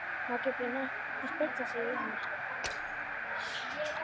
Maður gat næstum speglað sig í henni.